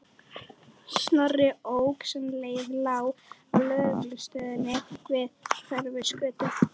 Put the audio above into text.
Snorri ók sem leið lá að lögreglustöðinni við Hverfisgötu.